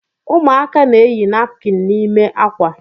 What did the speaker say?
Ụmụaka na-eyi napkin n’ime akwa